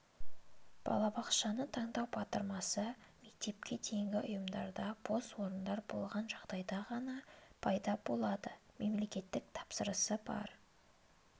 балабақшаны таңдау батырмасы мектепке дейінгі ұйымдарда бос орындар болған жағдайда ғана пайда болады мемлекеттік тапсырысы бар